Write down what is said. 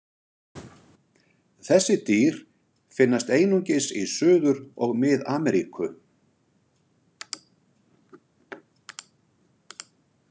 Þessi dýr finnast einungis í Suður- og Mið-Ameríku.